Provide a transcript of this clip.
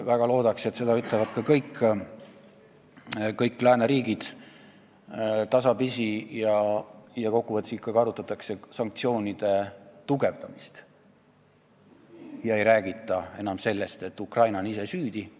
Väga loodaks, et seda teevad tasapisi ka kõik lääneriigid ja ikkagi arutatakse sanktsioonide karmistamist ega räägita enam sellest, et Ukraina on ise süüdi.